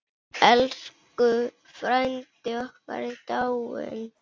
Elsku frændi okkar er dáinn.